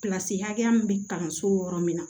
Kilasi hakɛya min bɛ kalanso yɔrɔ min na